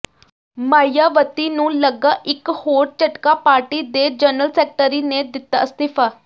ਮਾਇਆਵਤੀ ਨੂੰ ਲੱਗਾ ਇੱਕ ਹੋਰ ਝਟਕਾ ਪਾਰਟੀ ਦੇ ਜਨਰਲ ਸੈਕਟਰੀ ਨੇ ਦਿੱਤਾ ਅਸਤੀਫਾ